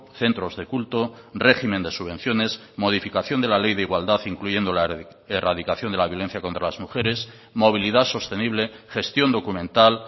centros de culto régimen de subvenciones modificación de la ley de igualdad incluyendo la erradicación de la violencia contra las mujeres movilidad sostenible gestión documental